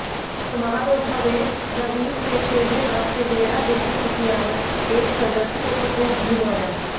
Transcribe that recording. समारोह में नवीन ने तेरे वास्ते मेरा इश्क सुफियाना पेश कर दर्शकों को खूब झुमाया